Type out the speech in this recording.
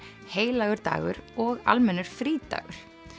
heilagur dagur og almennur frídagur